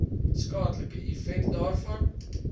skadelike effek daarvan